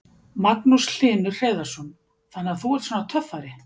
Magnús Hlynur Hreiðarsson: Þannig þú ert svona töffari?